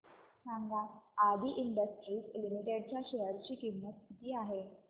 सांगा Adi industries limited च्या share ची किंमत किती आहे